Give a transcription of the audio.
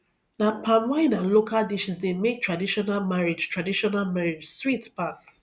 na palm wine and local dishes dey make traditional marriage traditional marriage sweet pass